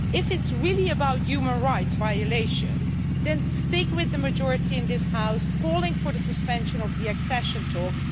If it's really about human rights violations then stick with the majority in this House calling for the suspension of the accession talks.